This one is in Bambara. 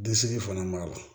fana b'a la